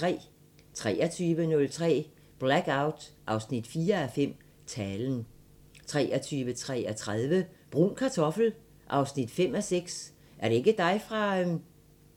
23:03: Blackout 4:5 – Talen 23:33: Brun Kartoffel 5:6 – Er det ikke dig fra..?